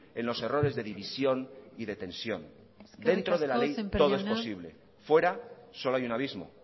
en los errores de división y de tensión eskerrik asko sémper jauna dentro de la ley todo es posible fuera solo hay un abismo